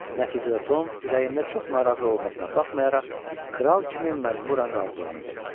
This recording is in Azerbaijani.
Nəticədə Tom ürəyində çox narazı olmasına baxmayaraq, kral kimi məcburi razılığını verdi.